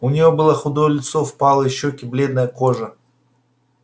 у нее было худое лицо впалые щёки бледная кожа